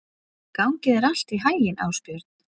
Gangi þér allt í haginn, Ásbjörn.